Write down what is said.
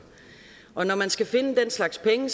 og når man skal finde den slags penge